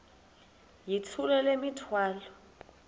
yithula le mithwalo